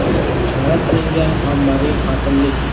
Bashorat qilingan ommaviy qotillik.